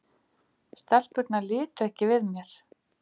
Stelpurnar litu ekki við mér.